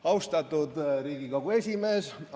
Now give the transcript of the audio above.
Austatud Riigikogu esimees!